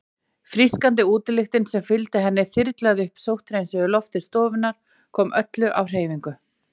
Frískandi útilyktin sem fylgdi henni þyrlaði upp sótthreinsuðu lofti stofunnar, kom öllu á hreyfingu.